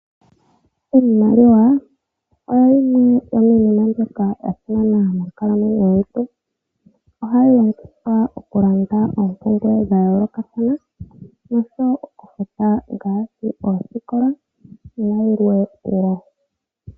Iimaliwa oyo yimwe yomiinima mbyoka ya simana monkalamwenyo yomuntu ohayi longithwa okufuta oompumbwe dha yoolokathana oshowo okufuta oosikola ayilwe woo.